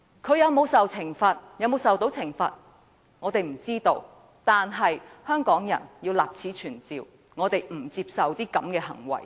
他會否受到懲罰，我們不知道，但我們要立此存照，香港人不接受他這類行為。